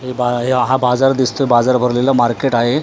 हे य हा बाजार दिसतोय बाजार भरलेला मार्केट आहे.